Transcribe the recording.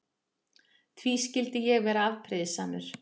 Því skyldi ég vera afbrýðisamur?